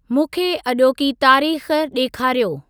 मूंंखे अॼोकी तारीख़ ॾेखारियो।